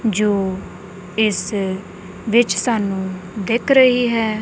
ਜੋ ਇਸ ਵਿੱਚ ਸਾਨੂੰ ਦਿੱਖ ਰਹੀ ਹੈ।